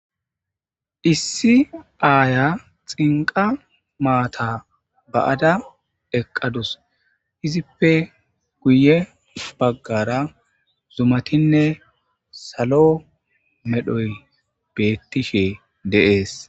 Issi aaya xinqa maata ba'ada eqqadus izippe guye baggara zumatinne salo medhoy beettishe deees.